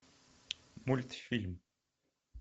мультфильм